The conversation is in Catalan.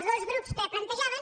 els dos grups que ho plantejaven